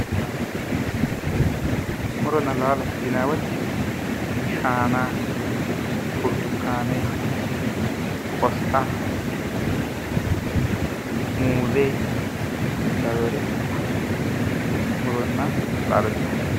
muronna laalo yinay woyte shaana, burtukaane, qosixa, muuze lawinore muronna laalo yine woshshinanni.